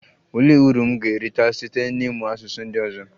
Olee uru m ga-erite site n'ịmụ asụsụ ndị ọzọ?